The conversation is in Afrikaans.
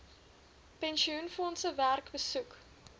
pensioenfondse werk besoek